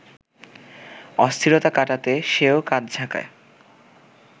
অস্থিরতা কাটাতে সেও কাঁধ ঝাঁকায়